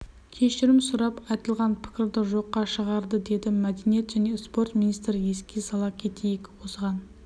кешірім сұрап айтылған пікірді жоққа шығарды деді мәдениет және спорт министрі еске сала кетейік осыған